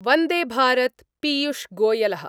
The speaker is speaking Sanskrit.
वंदेभारत पीयूषगोयल: